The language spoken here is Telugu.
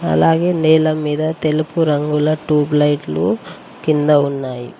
అలాగే నేల మీద తెలుపు రంగుల టూబ్ లైట్లు కింద ఉన్నాయి.